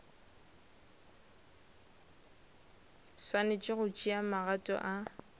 swanetše go tšea magato a